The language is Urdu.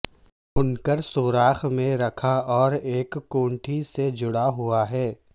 انکر سوراخ میں رکھا اور ایک کھونٹی سے جڑا ہوا ہے